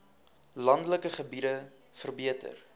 landelike gebiede verbeter